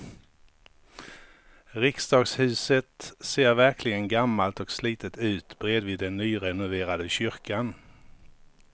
Riksdagshuset ser verkligen gammalt och slitet ut bredvid den nyrenoverade kyrkan.